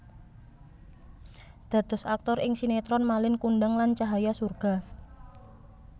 Dados aktor ing sinetron Malin Kundang lan Cahaya Surga